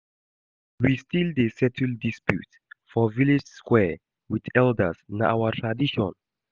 We still dey settle disputes for village square wit elders, na our tradition.